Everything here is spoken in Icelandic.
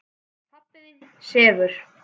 Pabbi þinn sefur.